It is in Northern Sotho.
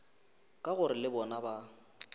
ka gore le bona ba